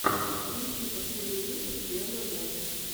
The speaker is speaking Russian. включи последний выпуск яна го